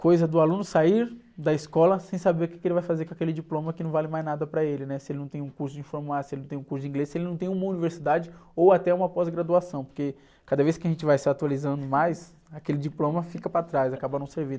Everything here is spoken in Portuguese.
coisa do aluno sair da escola sem saber o quê que ele vai fazer com aquele diploma que não vale mais nada para ele, né? Se ele não tem um curso de informática, se ele não tem um curso de inglês, se ele não tem uma universidade ou até uma pós-graduação, porque cada vez que a gente vai se atualizando mais, aquele diploma fica para trás, acaba não servindo.